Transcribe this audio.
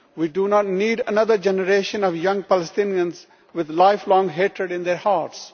We do not need another generation of young Palestinians with lifelong hatred in their hearts.